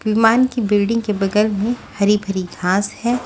विमान की बिल्डिंग के बगल में हरी भरी घांस है।